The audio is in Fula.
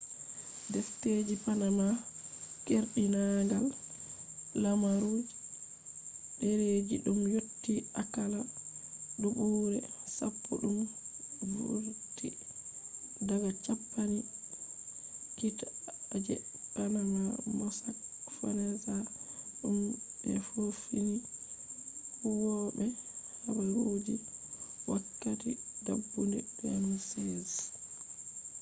defteji panama” keerdinaangal lemaru je dereji dum yotti akalla dubuure sappo dum vurti daga campani kiita je panama mossack fonseca dum be yofini huwobe habaruji wakkati dabbunde 2016